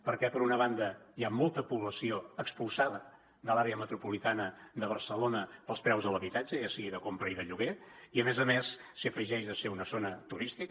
perquè per una banda hi ha molta població expulsada de l’àrea metropolitana de barcelona pels preus de l’habitatge ja sigui de compra o de lloguer i a més a més s’hi afegeix ser una zona turística